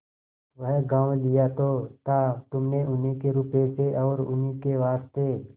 वह गॉँव लिया तो था तुमने उन्हीं के रुपये से और उन्हीं के वास्ते